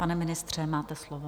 Pane ministře, máte slovo.